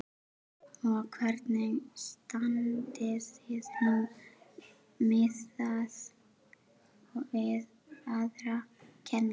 Þórhildur: Og hvernig standið þið núna miðað við aðra kennara?